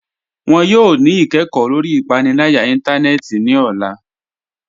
Wọn yọ ni ikẹkọ lọri ipanilaya ìntánẹnẹ́tì ni ọla